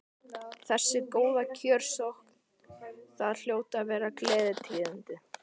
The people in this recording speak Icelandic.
Þessi góða kjörsókn, það hljóta að vera gleðitíðindi?